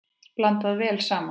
Blandað vel saman.